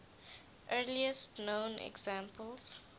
earliest known examples